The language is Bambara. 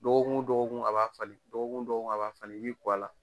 Dɔgɔkun wo dɔgɔkun a b'a falen, dɔgɔkun dɔgɔkun a b'a falen i b'i ko a la.